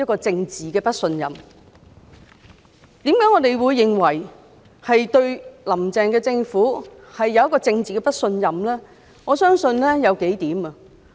至於我們為何對"林鄭"政府政治不信任，我相信有數項原因。